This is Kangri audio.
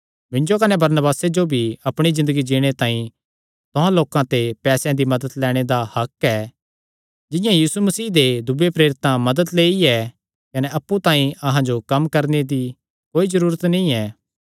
मिन्जो कने बरनबासे जो भी अपणी ज़िन्दगी जीणे तांई तुहां लोकां ते पैसेयां दी मदत लैणे दा हक्क ऐ जिंआं यीशु मसीह दे दूयेयां प्रेरितां मदत लेई ऐ कने अप्पु तांई अहां जो कम्म करणे दी कोई जरूरत नीं ऐ